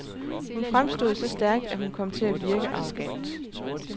Hun fremstod så stærkt, at hun kom til at virke arrogant.